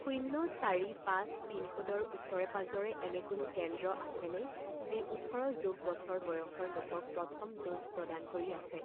শূন্য চাৰি পাঁচ পিন ক'ডৰ ওচৰে পাজৰে এনে কোনো কেন্দ্ৰ আছেনে যি ওঠৰ যোগ বছৰ বয়সৰ লোকক প্ৰথম ড'জ প্ৰদান কৰি আছে?